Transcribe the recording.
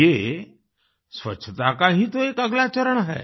ये स्वच्छता का ही तो एक अगला चरण है